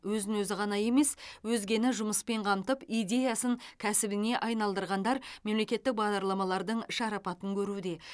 өзін ғана емес өзгені жұмыспен қамтып идеясын кәсібіне айналдырғандар мемлекеттік бағдарламалардың шарапатын көруде